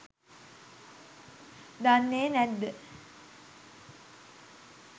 දන්නේ නැත්ද?